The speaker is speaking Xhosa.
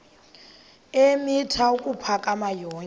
eemitha ukuphakama yonke